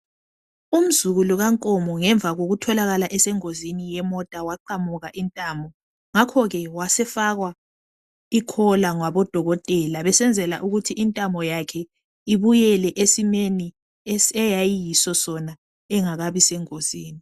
Umzukulu kaNkomo ngemva kokutholakala esengozini yemota waqamuka intamo. Ngakho ke wasefakwa ikhola ngabodokotela besenzela ukuthi intamo yakhe ibuyele esimeni eyayiyiso Sona engakabi sengozini.